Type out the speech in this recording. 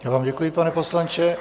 Já vám děkuji, pane poslanče.